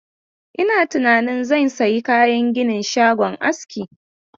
Ina tunanin zan sayi kayan ginin shagon aski.